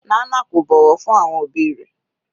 Nana kò bọ̀wọ̀ fún àwọn òbí rẹ̀.